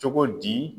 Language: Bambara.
Cogo di